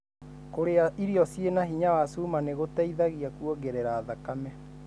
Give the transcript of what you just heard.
Kũrĩa irio cĩina hinya wa cuma nĩgũteithagia kuongerera thakame.